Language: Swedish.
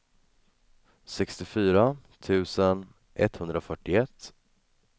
sextiofyra tusen etthundrafyrtioett